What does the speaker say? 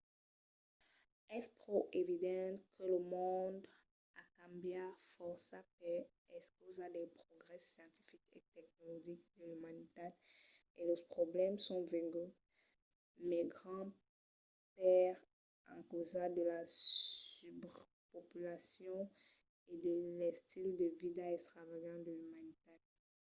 es pro evident que lo mond a cambiat fòrça per encausa dels progrèsses scientifics e tecnologics de l’umanitat e los problèmas son venguts mai grands per encausa de la subrepopulacion e de l’estil de vida extravagant de l’umanitat